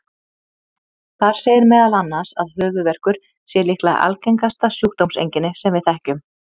Þar segir meðal annars að höfuðverkur sé líklega algengasta sjúkdómseinkenni sem við þekkjum.